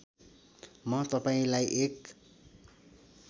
म तपाईँलाई एक